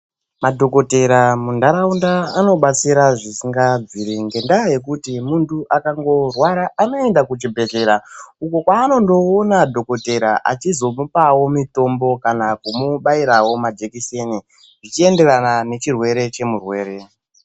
Madhokotera munharaunda anobatsira zvisingabviri. Ngendaa yekuti muntu akangorwara anoenda kuchibhedhlera uko kwanondoona dhokotera achizomupavo mitombo, kana kumubairavo majekiseni zvichienderana nechirwere chemurwere.